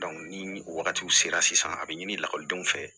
ni wagatiw sera sisan a bɛ ɲini lakɔlidenw fɛ